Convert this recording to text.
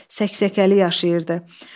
Səksəkəli yaşayırdı.